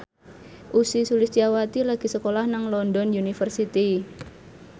Ussy Sulistyawati lagi sekolah nang London University